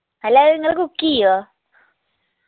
അല്ലാ അത് നിങ്ങൾ cook ചെയ്യോ